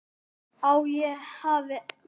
Að ég hafi gefist upp.